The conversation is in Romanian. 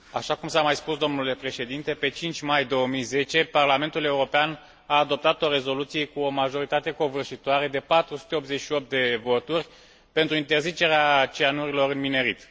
Așa cum s a mai spus, domnule președinte, pe 5 mai 2010 Parlamentul European a adoptat o rezoluție cu o majoritate covârșitoare de 488 de voturi pentru interzicerea cianurilor în minerit.